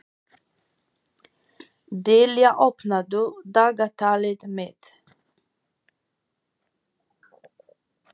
Dilja, opnaðu dagatalið mitt.